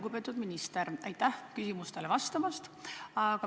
Lugupeetud minister, aitäh küsimustele vastamast!